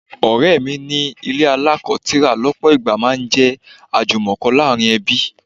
Ọ̀rẹ́ mi ní ilé alako tira lọpọ ìgbà máa ń jẹ́ ajumoko láàárín ẹbí.